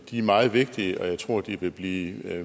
de er meget vigtige og jeg tror de vil blive